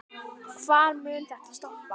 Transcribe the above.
Hvar mun þetta stoppa?